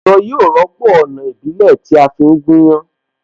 Ẹ̀rọ yóò rọ́pò Ọ̀nà ìbílẹ̀ tí a fi ń gúnyán